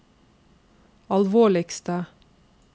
alvorligste